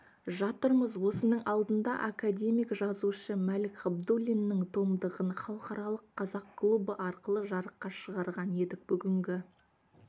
жатырмыз осының алдында академик-жазушы мәлік ғабдуллиннің томдығын халықаралық қазақ клубы арқылы жарыққа шығарған едік бүгінгі